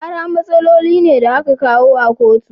Kara matsaloli ne da a ka kawo a kotu.